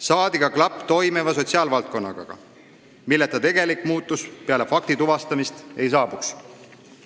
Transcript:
Saadi ka klapp toimiva sotsiaalvaldkonnaga, milleta tegelik muutus peale fakti tuvastamist ei saabuks.